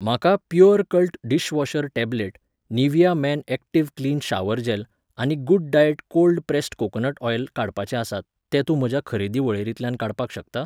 म्हाका Purecult dishwasher tablet, Nivea men active clean shower gel आनी good diet cold pressed coconut oil काडपाचे आसात, ते तूं म्हज्या खरेदी वळेरेंतल्यान काडपाक शकता?